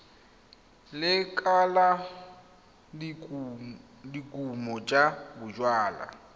lekala la dikumo tsa bojalwa